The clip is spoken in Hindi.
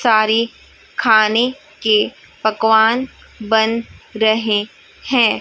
सारी खाने के पकवान बन रहे हैं।